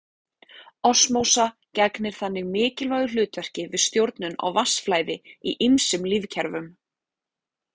Osmósa gegnir þannig mikilvægu hlutverki við stjórnun á vatnsflæði í ýmsum lífkerfum.